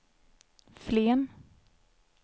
Flen